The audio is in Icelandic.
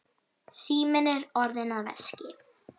Síminn er orðinn að veski.